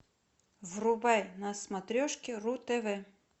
врубай на смотрешке ру тв